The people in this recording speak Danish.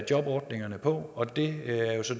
jobordningerne på og det er jo så